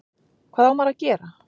Hvað á maður að gera?